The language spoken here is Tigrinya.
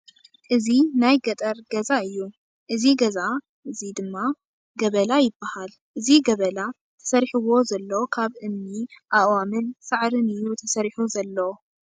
እዚ ናይ ገጠር ገዛ እዩ። እዚ ገዛ እዚ ድማ ገበላ ይባሃል። እዚ ገበላ ተሰሪሕዎ ዘሎ ካብ እምኒ፣ ኣእዋምን ሳዕርን እዩ ተሰሪሑ ዘሎ።